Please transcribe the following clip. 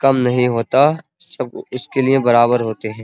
कम नहीं होता सब इसके लिए बराबर होते हैं।